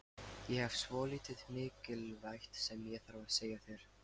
Ég hef svolítið mikilvægt sem ég þarf að segja þér.